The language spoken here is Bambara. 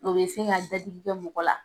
O bɛ se ka datiigi kɛ mɔgɔ la.